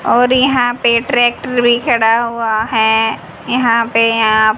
और यहां पे ट्रैक्टर भी खड़ा हुआ है यहां पे आप--